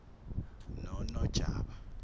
nonojaba